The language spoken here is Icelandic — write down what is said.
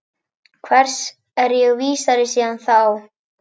Hvers er ég vísari síðan þá?